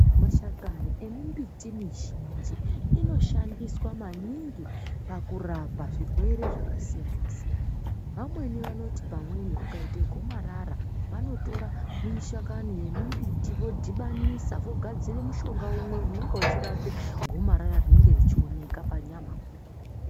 Mashakani emimbiti mizhinji inoshandiswa maningi pakurapa zvirwere zvakasiyana siyana imweni vaniti pamweni ukaita gomarara vanotora mashakani embiti vosanganisa vogadzira mishonga inenge ichirapa gomarara rinenge richioneka panyama.